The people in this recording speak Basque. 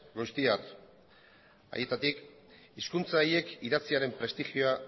goiztiar haietatik hizkuntza horiek idatziaren prestigioa